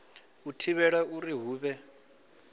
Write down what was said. u thivhela uri hu vhe